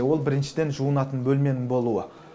ол біріншіден жуынатын бөлменің болуы